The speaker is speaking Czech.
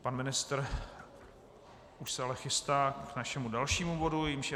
Pan ministr už se ale chystá k našemu dalšímu bodu, jímž je